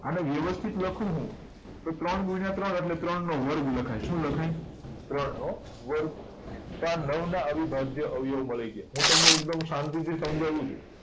અને વ્યવસ્થિત લખું હું તો ત્રણ ગુણ્યા ત્રણ એટલે ત્રણ નો વર્ગ લખાય શું લખાય ત્રણ નો વર્ગ તો આ નવ ના અવિભાજ્ય અવયવી મળી ગયા હું તમને એકદમ સાંતી થી સમજાવું છુ